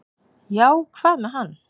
"""Já, hvað með hann?"""